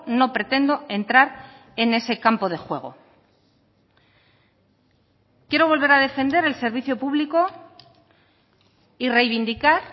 no pretendo entrar en ese campo de juego quiero volver a defender el servicio público y reivindicar